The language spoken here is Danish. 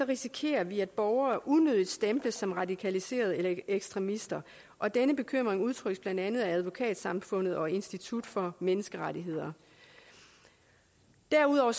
risikerer vi at borgere unødigt stemples som radikaliserede eller ekstremister og denne bekymring udtrykkes blandt andet af advokatsamfundet og institut for menneskerettigheder derudover